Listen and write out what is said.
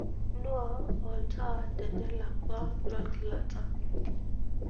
nuaa olntaa tenelakwa logilata